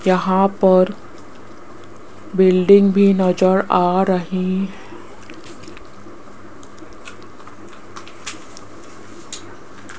यहां पर बिल्डिंग भी नजर आ रही --